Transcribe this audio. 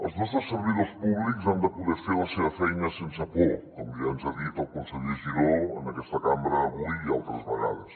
els nostres servidors públics han de poder fer la seva feina sense por com ja ens ha dit el conseller giró en aquesta cambra avui i altres vegades